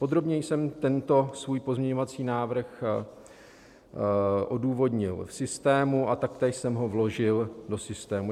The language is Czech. Podrobněji jsem tento svůj pozměňovací návrh odůvodnil v systému a taktéž jsem ho vložil do systému.